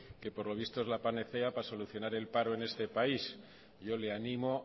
que por lo visto es la panacea para solucionar el paro en este país yo le animo